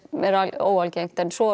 óalgengt en svo